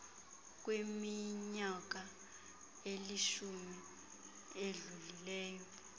kwiminyaka elishumi edlulileyo